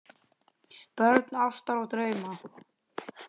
Börn ástar og drauma